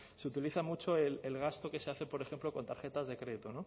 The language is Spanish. se utiliza mucho el gasto que se hace por ejemplo con tarjetas de crédito